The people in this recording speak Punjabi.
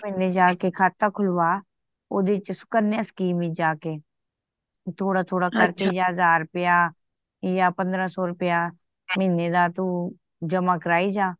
ਇੱਕ ਮੰਨੇ ਜਾ ਕੇ ਖਾਤਾ ਖੁਲਵਾ ਓਹਦੇ ਚ ਸੁਕੰਨਿਆ ਸਕੀਮ ਵਿਚ ਜਾ ਕੇ ਥੋੜਾ - ਥੋੜਾ ਕਰਕੇ ਯਾ ਹਜ਼ਾਰ ਰੁਪਿਆ ਯਾ ਪੰਦਰਾਂ ਸੌ ਰੁਪਿਆ ਮਹੀਨੇ ਦਾ ਤੂੰ ਜਮ੍ਹਾਂ ਕਰਾਈ ਜਾ